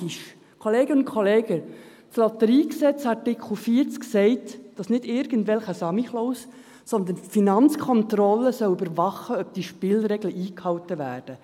Kolleginnen und Kollegen, das Lotteriegesetz (LotG) sagt in Artikel 40, dass nicht irgendwelche Samichläuse, sondern die Finanzkontrolle überwachen soll, ob die Spielregeln eingehalten werden.